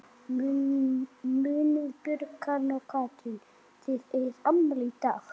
Munið Björg, Karen og Katrín.